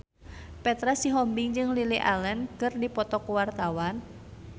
Petra Sihombing jeung Lily Allen keur dipoto ku wartawan